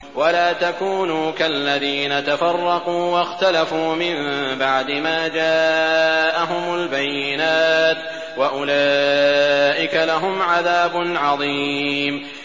وَلَا تَكُونُوا كَالَّذِينَ تَفَرَّقُوا وَاخْتَلَفُوا مِن بَعْدِ مَا جَاءَهُمُ الْبَيِّنَاتُ ۚ وَأُولَٰئِكَ لَهُمْ عَذَابٌ عَظِيمٌ